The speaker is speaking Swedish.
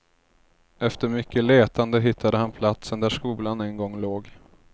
Efter mycket letande hittade han platsen där skolan en gång låg.